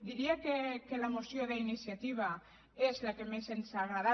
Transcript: diria que la moció d’iniciativa és la que més ens ha agradat